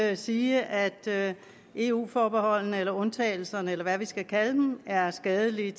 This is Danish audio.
at sige at eu forbeholdene eller undtagelserne eller hvad vi skal kalde dem er skadelige